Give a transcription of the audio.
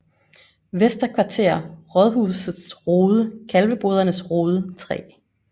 Vester Kvarter Rådhusets Rode Kalvebodernes Rode 3